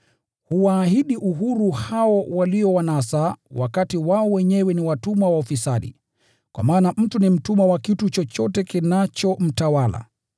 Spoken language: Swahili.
Huwaahidi uhuru hao waliowanasa, wakati wao wenyewe ni watumwa wa ufisadi: kwa maana mtu ni mtumwa wa kitu chochote kinachomtawala.